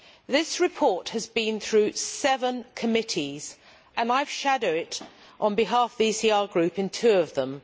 This report has been through seven committees and I have shadowed it on behalf of the ECR Group in two of them.